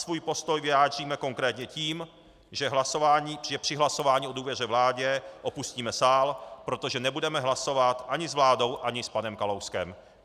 Svůj postoj vyjádříme konkrétně tím, že při hlasování o důvěře vládě opustíme sál, protože nebudeme hlasovat ani s vládou ani s panem Kalouskem.